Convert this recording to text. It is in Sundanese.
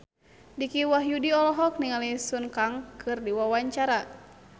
Dicky Wahyudi olohok ningali Sun Kang keur diwawancara